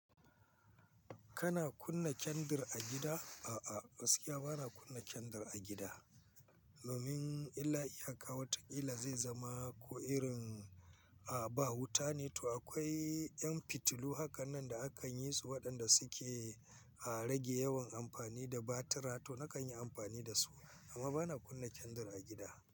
Kana kunna kendir a gida? A'a, gaskiya ba na kunna kendar a gida. Domin illa iyaka, wata kila zai zama ko irin a ba wuta ne to akwai ƴan fitilu hakanan da akan yi su waɗanda suke a rage yawan amfani da batira to na kan yi amfani da su. Amma ba na kunna kendar a gida.